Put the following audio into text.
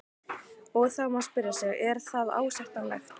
Og þá má spyrja sig, er það ásættanlegt?